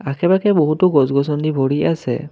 আশে পাশে বহুতো গছ গছনি ভৰি আছে।